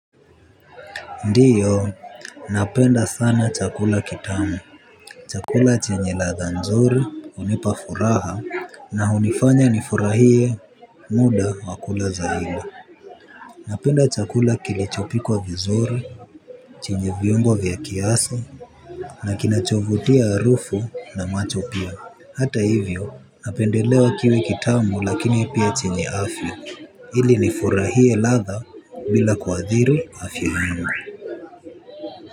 Ndio napenda sana chakula kitamu chakula chenye ladha nzuri hunipa furaha na hunifanya nifurahie muda wakula zaidi napenda chakula kilichopikwa vizuri chenye viungo vya kiasi na kinachovutia harufu na macho pia hata hivyo napendelea kiwe kitamu lakini pia chenye afya ili nifurahie ladha bila kuadhiri afya yangu.